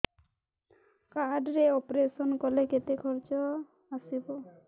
card ରେ operation କଲେ କେତେ ଖର୍ଚ ଆସିବ